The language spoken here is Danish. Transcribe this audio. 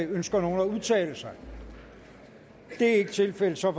ønsker nogen at udtale sig det er ikke tilfældet så er